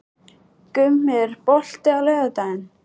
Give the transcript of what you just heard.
Gummi, er bolti á laugardaginn?